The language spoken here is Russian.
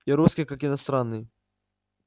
и русский как иностранный